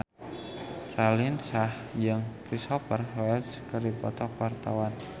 Raline Shah jeung Cristhoper Waltz keur dipoto ku wartawan